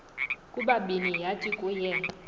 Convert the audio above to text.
kubabini yathi kuye